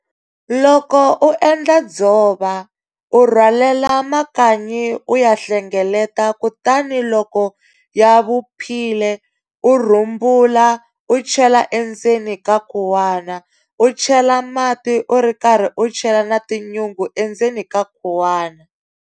Loko u endla dzova, u rhwalela makanyi u ya hlengeletela kutani loko ya vuphile, u rhumbula u chela endzeni ka khuwana, u chela mati u ri karhi u chela na tinyungu endzeni ka khuwana.